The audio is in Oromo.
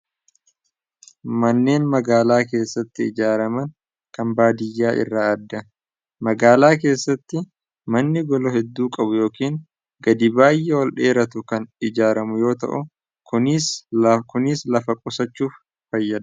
Manneen magaalaa keessatti ijaarraman kan baadiyyaa irraa aada magaalaa keessatti manni golo hedduu qabu yookiin gadi baayee ol dheeratu kan ijaaramu yoo ta'u kuniis lafa qosachuuf fayyada.